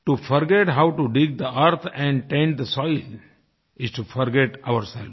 to forget how to dig the earth and to tend the soil is to forget ourselves